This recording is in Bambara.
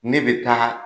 Ne bɛ taa